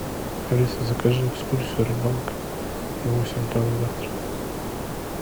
алиса закажи экскурсию рыбалка на восемь утра на завтра